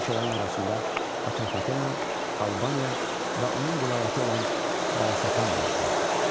Bu ölkələrin arasında Atropatena, Albaniya və onun vilayəti olan Balasakan da vardı.